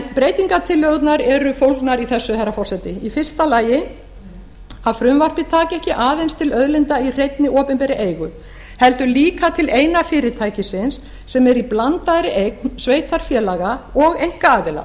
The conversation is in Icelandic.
breytingartillögurnar eru fólgnar í þessu herra forseti í fyrsta lagi að frumvarpið taki ekki aðeins til auðlinda í hreinni opinberri eigu heldur líka til eina fyrirtækisins sem er í blandaðri eign sveitarfélaga og einkaaðila